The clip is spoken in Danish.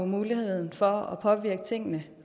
muligheden for at påvirke tingene